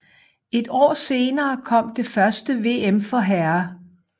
Et år senere kom det første VM for herrer